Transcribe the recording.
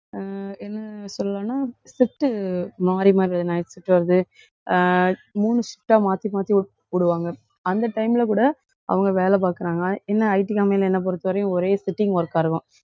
அஹ் என்ன சொல்லலாம்னா shift மாறி, மாறிவருது night shift வருது அஹ் மூணு shift ஆ மாத்தி, மாத்தி ஒருத்தருக்கு போடுவாங்க. அந்த time ல கூட அவங்க வேலை பாக்குறாங்க. ஆன~ என்ன IT company ல என்னை பொறுத்தவரையும் ஒரே sitting work ஆ இருக்கும்.